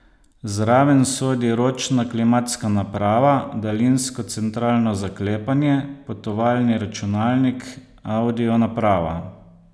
Zraven sodi ročna klimatska naprava, daljinsko centralno zaklepanje, potovalni računalnik, avdio naprava ...